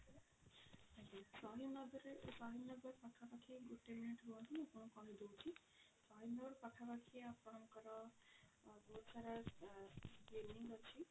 ଆଚ୍ଛା ସହିଦ ନଗରରେ ସହିଦ ନଗର ପାଖା ପାଖି ଗୋଟେ minute ରୁହନ୍ତୁ ମୁଁ ଆପଣଙ୍କୁ କହି ଦଉଛି Inox ପାଖା ପାଖି ଆପଣଙ୍କର ବହୁତ ସାରା ଆ clinic ଅଛି